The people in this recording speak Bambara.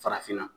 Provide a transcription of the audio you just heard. Farafinna